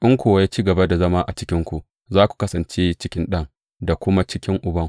In kuwa ya ci gaba da zama a cikinku, za ku kasance a cikin Ɗan, da kuma a cikin Uban.